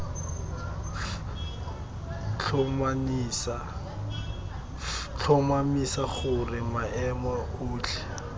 f tlhomamisa gore maemo otlhe